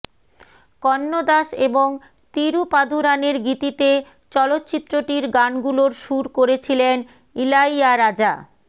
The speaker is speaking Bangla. কন্নদাস এবং তিরুপাদুরানের গীতিতে চলচ্চিত্রটির গানগুলোর সুর করেছিলেন ইলাইয়ারাজা